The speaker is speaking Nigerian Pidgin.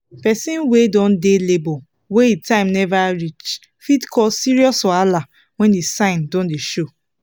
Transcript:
persin wey don dey labor wey him time never reach fit cause serious wahala when the sign don dey show